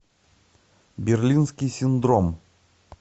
берлинский синдром